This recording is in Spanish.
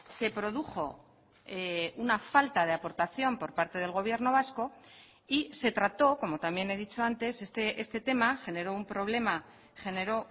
se produjo una falta de aportación por parte del gobierno vasco y se trató como también he dicho antes este tema generó un problema generó